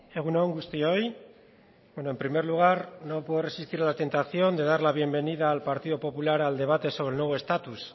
egun on guztioi en primer lugar no puedo resistir a la tentación de dar la bienvenida al partido popular al debate sobre el nuevo estatus